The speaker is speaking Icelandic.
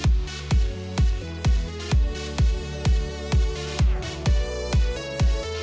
vel